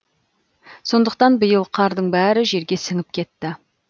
сондықтан биыл қардың бәрі жерге сіңіп кетті